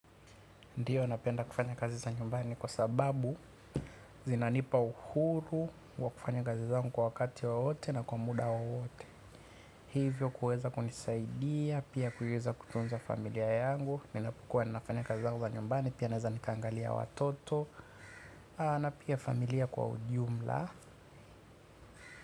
Ndio napenda kufanya kazi za nyumbani kwa sababu zinanipa uhuru wa kufanya kazi zangu kwa wakati wowote na kwa muda wowote. Hivyo kuweza kunisaidia, pia kuweza kutunza familia yangu. Ninapokuwa ninafanya kazi zangu za nyumbani pia naweza nikaangalia watoto. Na pia familia kwa ujumla.